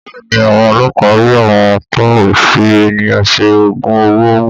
Bẹ́ẹ̀ni, àwọn ọlọpa ri àwon tọún fi ẹníyàn sẹ ògún òwó mú